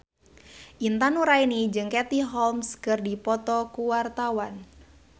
Intan Nuraini jeung Katie Holmes keur dipoto ku wartawan